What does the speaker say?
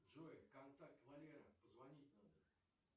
джой контакт валера позвонить надо